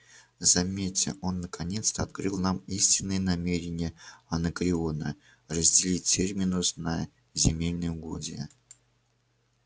заметьте он наконец-то открыл нам истинные намерения анакреона разделить терминус на земельные угодья